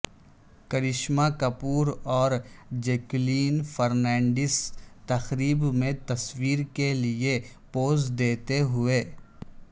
کرشمہ کپور اور جیکولین فرنینڈس تقرب میں تصویر کے لئے پوز دیتے ہوئے